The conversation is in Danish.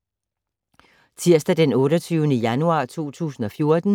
Tirsdag d. 28. januar 2014